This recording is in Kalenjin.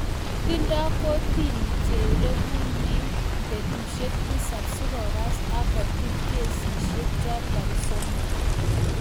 Tindo kortini cherekunen betusiek tisap kokas ak kotil kesisiek chotok somok.